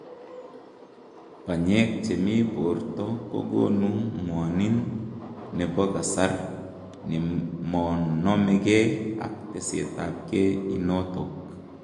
Panyeek chemii poortoo kogonuu ngwaniin nepo kasaar nemonomegei ak tesetap gei inotok